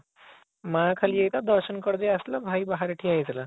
ମା ଖାଲି ଏକା ଦର୍ଶନ କରିଦେଇଆସିଥିଲା ଭାଇ ବାହାରେ ଠିଆ ହେଇଥିଲା